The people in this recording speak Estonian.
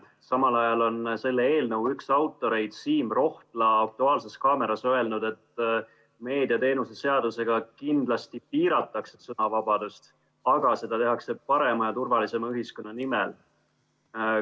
Samal ajal on selle eelnõu üks autoreid Siim Rohtla "Aktuaalses kaameras" öelnud, et meediateenuste seadusega kindlasti piiratakse sõnavabadust, aga seda tehakse parema ja turvalisema ühiskonna nimel.